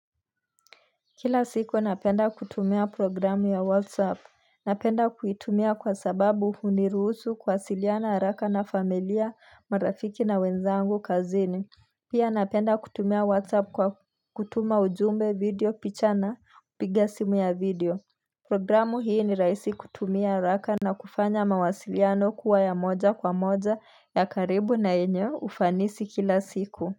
Kila siku napenda kutumia programu ya WhatsApp. Napenda kuitumia kwa sababu huniruhusu kuwasiliana haraka na familia, marafiki na wenzangu kazini Pia napenda kutumia WhatsApp kwa kutuma ujumbe, video, picha na kupiga simu ya video Programu hii ni raisi kutumia haraka na kufanya mawasiliano kuwa ya moja kwa moja ya karibu na yenye ufanisi kila siku.